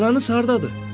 Ananız hardadır?